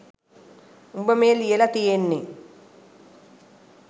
උඹ මේ ලියල තියෙන්නෙ